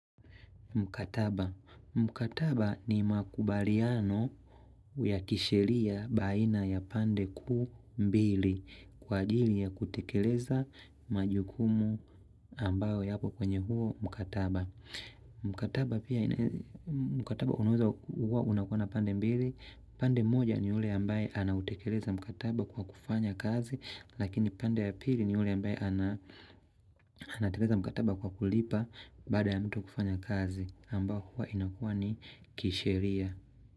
Mkataba. Mkataba ni makubaliano ya kisheria baina ya pande kuu mbili kwa ajili ya kutekeleza majukumu ambayo ya po kwenye huo mkataba. Mkataba unaweza hua unakua na pande mbili pande moja ni ule ambaye anautekeleza mkataba kwa kufanya kazi Lakini pande ya pili ni ule ambaye ana anateleza mkataba kwa kulipa Baada ya mtu kufanya kazi ambao huwa inakua ni kisheria.